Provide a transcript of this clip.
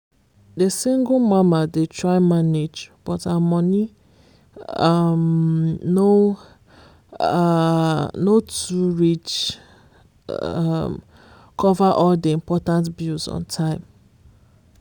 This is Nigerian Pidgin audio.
the single mama dey try manage but her money um no um no too reach um cover all the important bills on time.